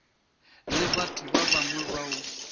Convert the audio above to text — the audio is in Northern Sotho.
le batho ba bangwe bao